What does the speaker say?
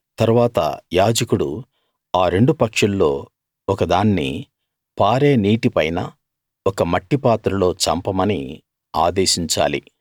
తరువాత యాజకుడు ఆరెండు పక్షుల్లో ఒకదాన్ని పారే నీటిపైన ఒక మట్టి పాత్రలో చంపమని ఆదేశించాలి